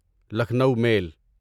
Lucknow میل